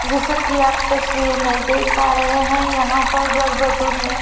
जैसा कि आप तस्वीर में देख पा रहे हैं यहां पर वर वधु ने--